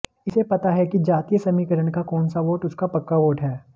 इसे पता है कि जातीय समीकरण का कौन सा वोट उसका पक्का वोट है